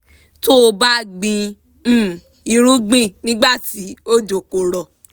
tó o bá gbìn um irúgbìn nígbà tí òjò kò rọ̀